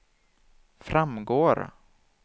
framgår